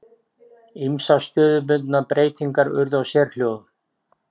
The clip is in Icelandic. Ýmsar stöðubundnar breytingar urðu á sérhljóðum.